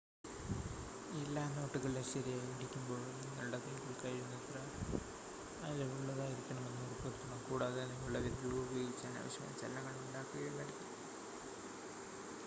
എല്ലാ നോട്ടുകളിലും ശരിയായി ഇടിക്കുമ്പോൾ നിങ്ങളുടെ കൈകൾ കഴിയുന്നത്ര അയവുള്ളതായിരിക്കുന്നെന്ന് ഉറപ്പുവരുത്തണം കൂടാതെ നിങ്ങളുടെ വിരലുകൾ ഉപയോഗിച്ച് അനാവശ്യമായ ചലനങ്ങൾ ഉണ്ടാക്കുകയുമരുത്